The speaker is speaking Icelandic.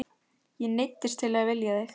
Ég neyddist til að vilja þig.